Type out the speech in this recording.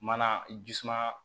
Mana ji suma